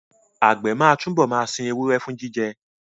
Àgbẹ̀ máa túbọ̀ máa sin ewúrẹ́ fún jíjẹ